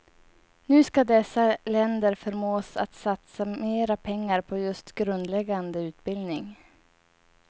Nu skall dessa länder förmås att satsa mera pengar på just grundläggande utbildning.